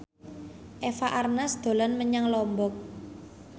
Eva Arnaz dolan menyang Lombok